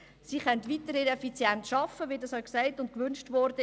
Diese können weiterhin effizient arbeiten, wie dies gewünscht wurde.